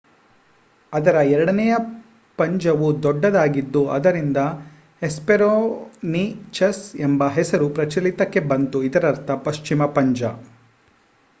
ಅದರ ಎರಡನೆಯ ಪಂಜವು ದೊಡ್ಡದಾಗಿದ್ದು ಆದ್ದರಿಂದ ಹೆಸ್ಪೆರೋನಿಚಸ್ ಎಂಬ ಹೆಸರು ಪ್ರಚಲಿತಕ್ಕೆ ಬಂತು ಇದರರ್ಥ ಪಶ್ಚಿಮ ಪಂಜ